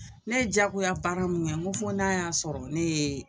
Ne jagoyabaara mun ŋɛ ŋo fo n'a y'a sɔrɔ nee